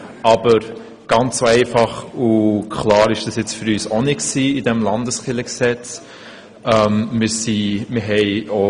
Aber ganz so einfach und klar war die Sachlage beim neuen Kirchengesetz für uns nicht.